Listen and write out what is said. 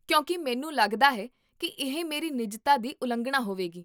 ਕਿਉਂਕਿ ਮੈਨੂੰ ਲੱਗਦਾ ਹੈ ਕੀ ਇਹ ਮੇਰੀ ਨਿੱਜਤਾ ਦੀ ਉਲੰਘਣਾ ਹੋਵੇਗੀ